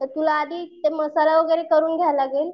तर तुला आधी ते मसाला वगैरे करून घ्यावं लागेल.